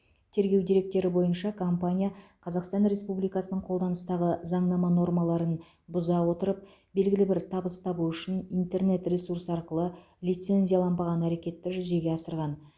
тергеу деректері бойынша компания қазақстан республикасының қолданыстағы заңнама нормаларын бұза отырып белгілі бір табыс табу үшін интернет ресурс арқылы лицензияланбаған әрекетті жүзеге асырған